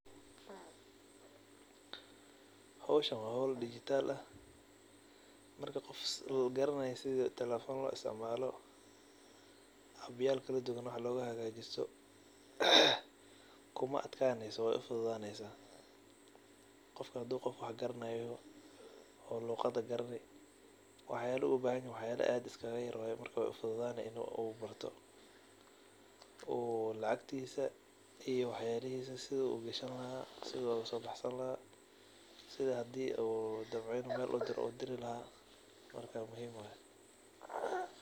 Howshan wa howl dijital ah marka uu qofka garanaya telefon sida loisticmalo abyal waxlogasojadista kuma atkaneyso wey ufududaneysa qofka hadu yoho qof wax garanayo oo luqada garani waxyalaha ubahnayahy wa waxyalo iskayar waye marka wey ufududane inu barto oo lacagtisa iyo waxyabahisa sidu ugashani laha iyo sidu usobaxsani laha sida hadii udamco inu uu meel udiri laha marka muhiim waye.